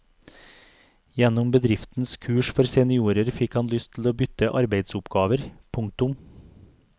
Gjennom bedriftens kurs for seniorer fikk han lyst til å bytte arbeidsoppgaver. punktum